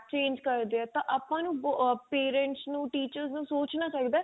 track change ਕਰਦੇ ਆ ਤਾਂ ਆਪਾਂ ਨੂੰ ਆ parents ਨੂੰ teachers ਨੂੰ ਸੋਚਣਾ ਚਾਹਿਦਾ